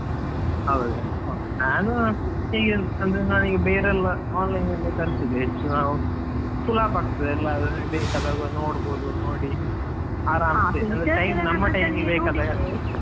ಹೌದ, ಹಾ ನಾನು ಹೀಗೆ ಅಂದ್ರೆ ನಾನೀಗ ಬೇರೆಲ್ಲ online ತರ್ಸಿದೆ ಹೆಚ್ಚು ಸುಲಭ ಆಗ್ತದೆ ಎಲ್ಲ ಬೇಕಾದಾಗ ನೋಡ್ಬಹುದು ನೋಡಿ, ಆರಾಮಸೇ .